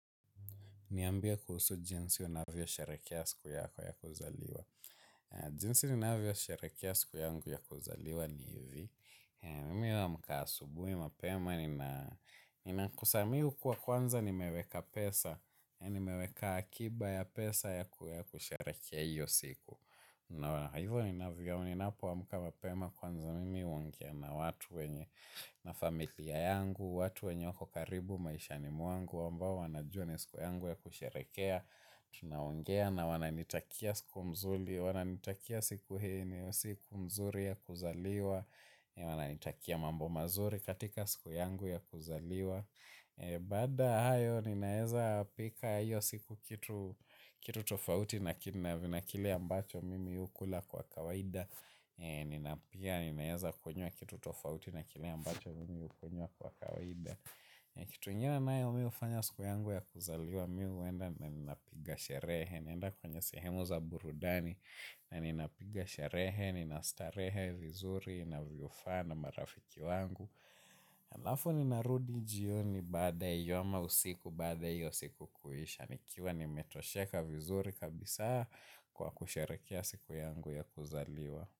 Niambie kuhusu jinsi unavyo sherekea siku yako ya kuzaliwa. Jinsi ninavyo sherekea siku yangu ya kuzaliwa ni hivi. Mimi na amka asubuhi mapema nina kusa mimi hukuwa kwanza nimeweka pesa. Nimeweka akiba ya pesa ya kusherekea hiyo siku. Hivyo ninavyo ninapo amka mapema kwanza mimi huongea na watu wenye na familia yangu. Watu wenye wako karibu maishani mwangu ambao wanajua ni siku yangu ya kusherekea. Tunaongea na wananitakia siku mzuri, wananitakia siku hii ni siku mzuri ya kuzaliwa. Wananitakia mambo mazuri katika siku yangu ya kuzaliwa. Baada ya hayo ninaeza pika hiyo siku kitu tofauti. Na kile ambacho mimi hukula kwa kawaida Ninapia ninaeza kunywa kitu tofauti na kile ambacho mimi hukunywa kwa kawaida. Kitu ingine nayo hufanya siku yangu ya kuzaliwa mimi huenda na ninapiga sherehe naenda kwenye sehemu za burudani na nina piga sherehe, nina starehe vizuri, inavyo faa na marafiki wangu alafu ninarudi jioni baada ya hiyo ama usiku baada ya hiyo siku kuisha nikiwa nimetosheka vizuri kabisa kwa kusherekea siku yangu ya kuzaliwa.